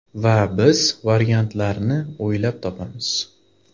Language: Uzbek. Va biz variantlarni o‘ylab topamiz.